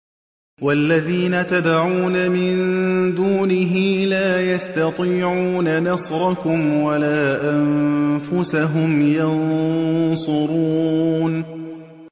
وَالَّذِينَ تَدْعُونَ مِن دُونِهِ لَا يَسْتَطِيعُونَ نَصْرَكُمْ وَلَا أَنفُسَهُمْ يَنصُرُونَ